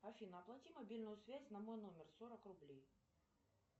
афина оплати мобильную связь на мой номер сорок рублей